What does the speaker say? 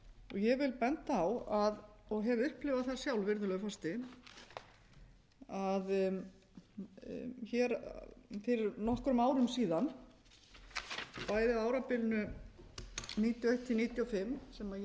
ég vil benda á og hef upplifað það sjálf virðulegi forseti að hér fyrir nokkrum árum síðan bæði á árabilinu nítján hundruð níutíu og eitt til nítján hundruð níutíu og fimm sem ég